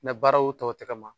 Ne baaraw tɔ tɛ ka ma